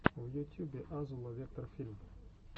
в ютюбе азула вектор фильм